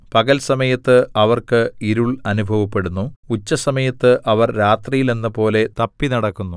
പകൽ സമയത്ത് അവർക്ക് ഇരുൾ അനുഭവപ്പെടുന്നു ഉച്ചസമയത്ത് അവർ രാത്രിയിലെന്നപോലെ തപ്പിനടക്കുന്നു